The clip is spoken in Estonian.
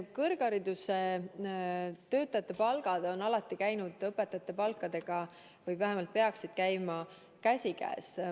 Kõrgharidustöötajate palgad on alati käinud või vähemalt peaksid käima õpetajate palkadega käsikäes.